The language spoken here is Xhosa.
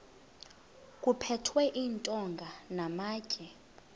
kuphethwe iintonga namatye